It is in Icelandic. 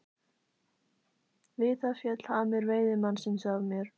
Við það féll hamur veiðimannsins af mér.